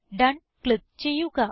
done click ചെയ്യുക